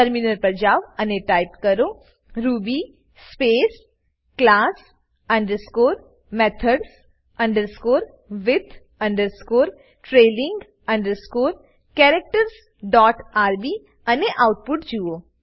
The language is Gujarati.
ટર્મિનલ પર જાવ અને ટાઈપ કરો Ruby space class underscore methods underscore with underscore trailing underscore characters dot RB અને આઉટપુટ જુઓ